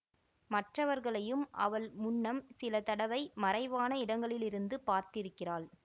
மற்றவர்களையும் அவள் முன்னம் சில தடவை மறைவான இடங்களிலிருந்து பார்த்திருக்கிறாள்